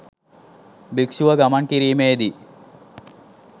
භික්‍ෂුව ගමන් කිරීමේ දී